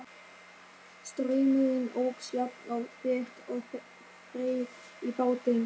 Straumurinn óx jafnt og þétt og þreif í bátinn.